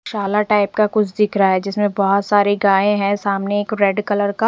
शाला टाइप का कुछ दिख रहा हैं जिसमें बहोत सारे गाये हैं सामने एक रेड कलर का--